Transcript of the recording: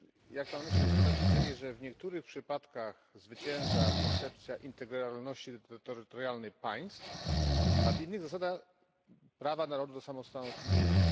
Jak Pan myśli, dlaczego tak się dzieje, że w niektórych przypadkach zwycięża koncepcja integralności terytorialnej państw, a w innych zasada prawa narodu do samostanowienia?